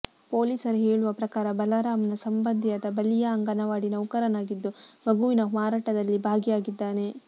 ಪೊಲೀಸರು ಹೇಳುವ ಪ್ರಕಾರ ಬಲರಾಮ್ನ ಸಂಬಂಧಿಯಾದ ಬಲಿಯಾ ಅಂಗನವಾಡಿ ನೌಕರನಾಗಿದ್ದು ಮಗುವಿನ ಮಾರಾಟದಲ್ಲಿ ಭಾಗಿಯಾಗಿದ್ದಾನೆ